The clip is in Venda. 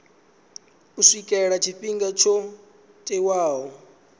u swikela tshifhinga tsho tiwaho